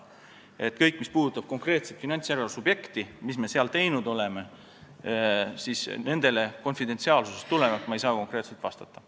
Kõigile küsimustele, mis puudutavad konkreetset finantsjärelevalve subjekti, seda, mida me seal teinud oleme, ei saa ma konfidentsiaalsusest tulenevalt konkreetselt vastata.